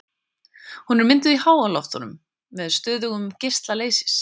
Hún er mynduð í háloftunum með stöðugum geisla leysis.